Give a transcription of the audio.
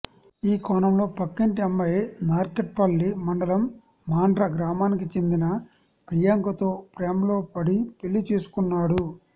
ఈ కోనంలో పక్కింటి అమ్మాయి నార్కట్పల్లి మండలం మాండ్ర గ్రామానికి చెందిన ప్రియాంకతో ప్రేమలో పడి పెళ్ళి చేసుకున్నాడు